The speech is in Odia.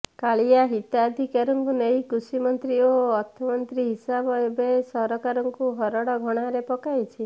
କାଳିଆ ହିତାଧିକାରୀଙ୍କୁ ନେଇ କୃଷିମନ୍ତ୍ରୀ ଓ ଅର୍ଥମନ୍ତ୍ରୀଙ୍କ ହିସାବ ଏବେ ସରକାରଙ୍କୁ ହରଡ଼ଘଣାରେ ପକାଇଛି